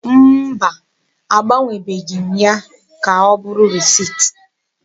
Mba, agbanwebeghị m ya ka ọ bụrụ risit.